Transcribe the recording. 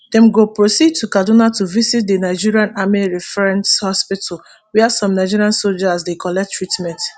dem go proceed to kaduna to visit di nigerian army reference hospital wia some nigerian sojas dey collect treatment